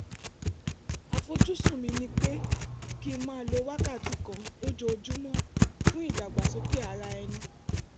àfojúsùn mi ni pé kí n máa lo wákàtí kan lójoojúmọ́ fún ìdàgbàsókè ara ẹni